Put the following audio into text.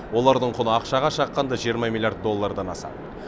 олардың құны ақшаға шаққанда жиырма миллиард доллардан асады